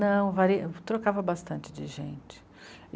Não, trocava bastante de gente.